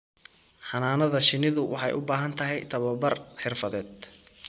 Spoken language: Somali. Xannaanada shinnidu waxay u baahan tahay tababar xirfadeed.